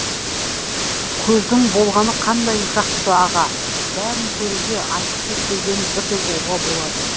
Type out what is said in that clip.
көздің болғаны қандай жақсы аға бәрін көруге айтқысы келгенін бірден ұғуға болады